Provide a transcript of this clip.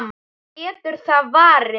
En getur það varist?